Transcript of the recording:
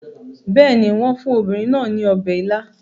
Bẹ́ẹ̀ ni, wọ́n fún obìnrin náà ní ọbẹ̀ ila